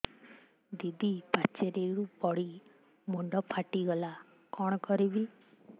ଦିଦି ପାଚେରୀରୁ ପଡି ମୁଣ୍ଡ ଫାଟିଗଲା କଣ କରିବି